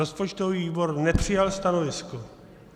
Rozpočtový výbor nepřijal stanovisko.